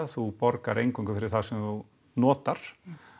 þú borgar eingöngu fyrir það sem þú notar